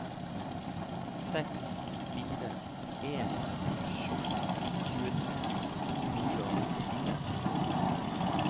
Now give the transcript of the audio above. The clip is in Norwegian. seks fire en sju tjueto to hundre og nittifire